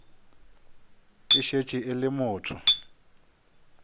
e šetše e le motho